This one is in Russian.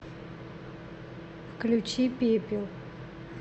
включи пепел